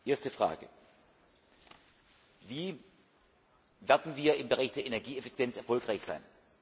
Erste Frage Wie werden wir im Bereich der Energieeffizienz erfolgreich sein?